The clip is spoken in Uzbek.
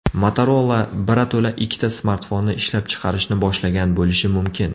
Motorola birato‘la ikkita smartfonni ishlab chiqarishni boshlagan bo‘lishi mumkin.